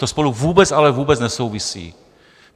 To spolu vůbec, ale vůbec nesouvisí.